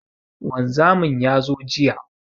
Wanzamin ya zo jiya.